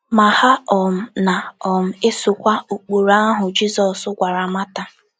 Ma ha um na - um esokwa ụkpụrụ ahụ Jizọs gwara Mata.